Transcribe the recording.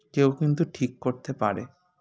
একেও কিন্তু ঠিক করতে পারে